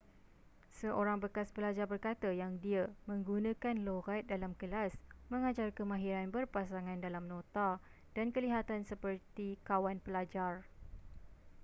seorang bekas pelajar berkata yang dia 'menggunakan loghat dalam kelas mengajar kemahiran berpasangan dalam nota dan kelihatan seperti kawan pelajar.'